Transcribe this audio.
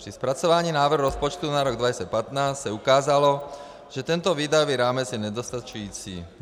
Při zpracování návrhu rozpočtu na rok 2015 se ukázalo, že tento výdajový rámec je nedostačující.